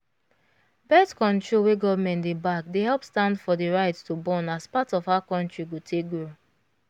birth-control wey government dey back dey help stand for the right to born as part of how contry go take grow.